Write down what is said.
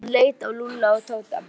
Hann leit á Lúlla og Tóta.